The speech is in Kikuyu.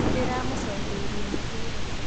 Nĩndĩramũcokeirie mũbira